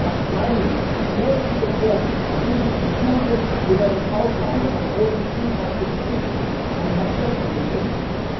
Neue Arzneimittel wurden und werden in klinischen Studien unter Inkaufnahme von großen gesundheitlichen Risiken an Patienten getestet.